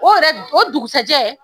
O yɛrɛ o dugusɛjɛ